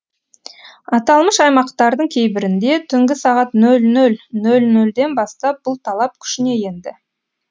аталмыш аймақтардың кейбірінде түнгі сағат нөл нөл нөл нөлден бастап бұл талап күшіне енді